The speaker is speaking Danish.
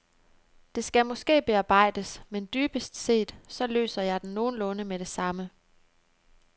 Det skal måske bearbejdes, men dybest set så løser jeg den nogenlunde med det samme.